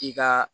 I ka